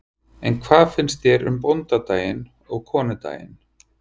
En hvað finnst þér um bóndadaginn og konudaginn?